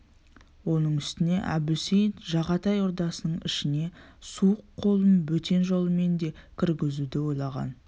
оның үстіне әбусейіт жағатай ордасының ішіне суық қолын бөтен жолмен де кіргізуді ойлаған